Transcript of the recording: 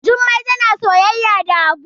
Jummai tana soyayya da habu